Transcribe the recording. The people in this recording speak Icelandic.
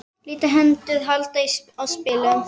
Litlar hendur halda á spilum.